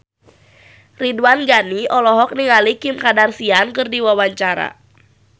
Ridwan Ghani olohok ningali Kim Kardashian keur diwawancara